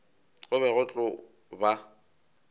go be go tlo ba